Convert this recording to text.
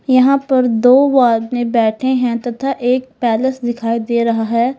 यहां पर दो आदमी बैठे है तथा एक पैलेस दिखाई दे रहा है।